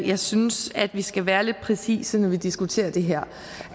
jeg synes at vi skal være lidt præcise når vi diskuterer det her